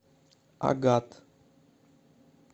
агат